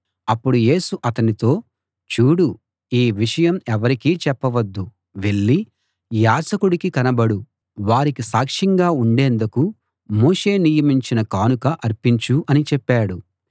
అప్పుడు యేసు అతనితో చూడు ఈ విషయం ఎవరికీ చెప్పవద్దు వెళ్ళి యాజకుడికి కనబడు వారికి సాక్ష్యంగా ఉండేందుకు మోషే నియమించిన కానుక అర్పించు అని చెప్పాడు